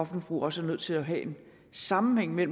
forbrug også er nødt til at have en sammenhæng med